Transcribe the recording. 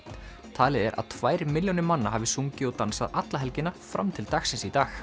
talið er að tvær milljónir manna hafi sungið og dansað alla helgina fram til dagsins í dag